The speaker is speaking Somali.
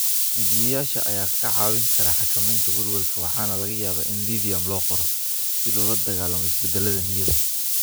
Dejiyeyaasha ayaa kaa caawin kara xakamaynta welwelka waxaana laga yaabaa in lithium loo qoro si loola dagaallamo isbeddellada niyadda.